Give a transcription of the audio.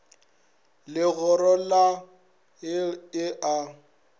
legoro la hlt e a